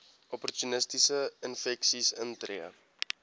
opportunistiese infeksies intree